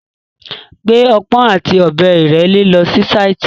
Gbé ọpọ́n àti ọ̀bẹ ìrẹ́le lọ si sáìtì.